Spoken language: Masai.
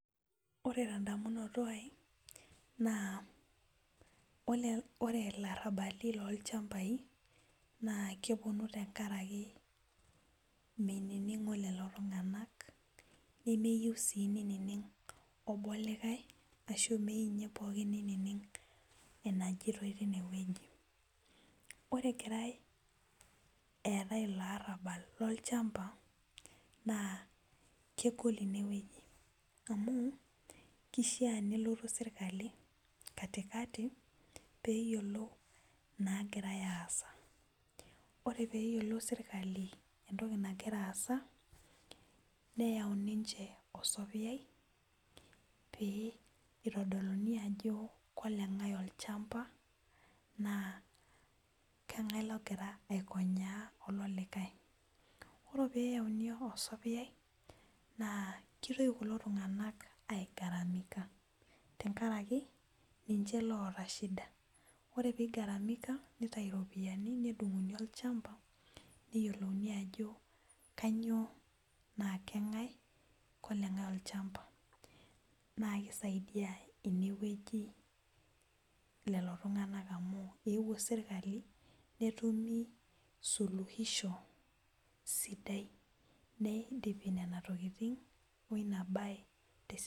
Ore tenedamunoto aai naa ore larabaki lolchambai nakeponu tenkaraki menining'o lolotung'anak nemeyieu si neining' obo likae ashu meyieu nye obo nining' enajitoi tinewueji, ore egirai eetae ilobarabal lolchamba' na kegol inewueji amu kishaa pelotu serkali katikati peyiolou nagira aasa ore peyiolou serkali entoki nagira aasa neyau ninche osapeyai pitadoluni ajo kolengae olchamba, naa kengae ogira akonyaa olo likae. yiolo peyauni osapeyai na kitoki kulo tung'anak aigaramika tenkaraki ninche oota shida ore pigaramika nitau ropiyani nedung'okini olchamba kanyio na kang'ae na oleng'ae olchamba nakisaidia inewueji amu eeuo serkali netumi suluisho sidai .